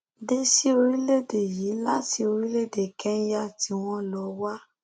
dé sí orílẹèdè yìí láti orílẹèdè kẹńyà tí wọn lọ wá